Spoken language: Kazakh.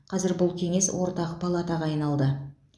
қазір бұл кеңес ортақ палатаға айналды